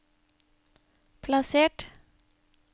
plassert